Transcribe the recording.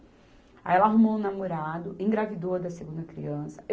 Aí ela arrumou um namorado, engravidou a da segunda criança.